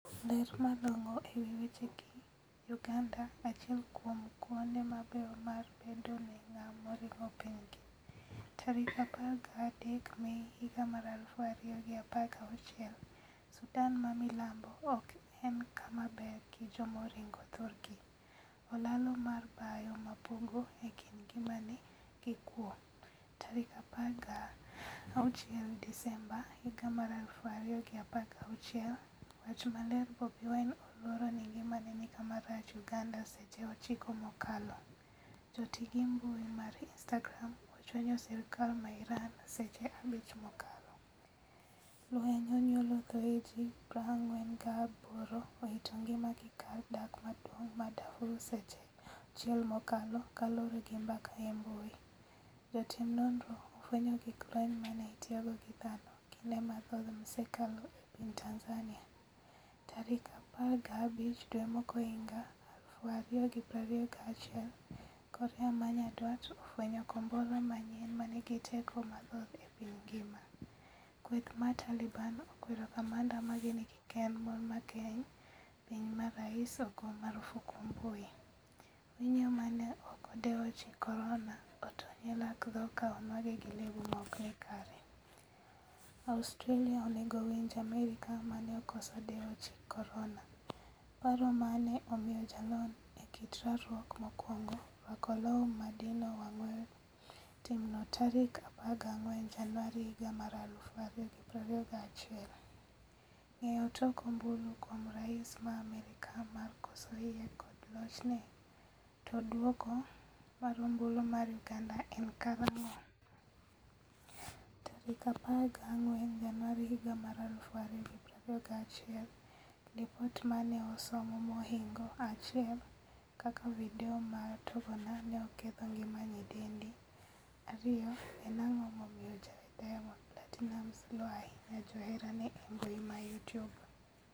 Ler malong'o e wi weche gi: Uganda: 'Achiel kuom kuonde mabeyo mar bedo ne ng'a moringo pinygi.' 13 Mei 2016 Sudan ma milambo ok en kama ber gi jomoringo thurgi. Olalo mar bao mapogo ekind ngimani gi kwo.16 Disemba 2016. Wach maler Bobi Wine oluoro ni ngimane ni kama rach' Uganda Seche 9 mokalo. Joti gi mbui mar Instagram ochwanyo sirkal ma Iran seche 5 mokalo. Lweny onyuolo thoe ji 48 owito ngima gi kar dak maduong' ma Darfur Seche 6 mokalo kaluore gi mbaka e mbui. Jotim nonro ofwenyo gig lweny mane itiyogo gi dhano kinde mathoth msekalo e piny Tanzania. Tarik 15 dwe mokwongohiga 2021 korea manyandwat ofwenyo kombora manyien manigi teko mathoth e piny ngima. Kweth mar Taliban okwero kamanda mage ni kikkend mon mang'eny. piny ma rais ogo marufuku mbui. Winyo mane ok odewo chik korona otony e lak tho ka onwang'e gi lebo maokni kare. Australia onego winj Amerka mane okoso dewo chik korona. paro mane omiyo jalony e kit rwakruok mokwongo rwako law madino wang' weyo timno tarik 14 januari 2021. Ng'eyo tok ombulu kuom rais ma Amerka mar koso yie kod lochne? To duoko mar ombulu mar uganda en karang'o?14 Januari 2021Lipot mane osom mohingo 1 kaka video mar tongona ne oketho ngima nyidendi 2. en ang'o momiyo jawer Diamond Platinumz luo ahinya joherane embui ma Youtube?